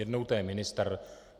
Jednou to je ministr.